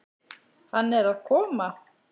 Hann er að koma.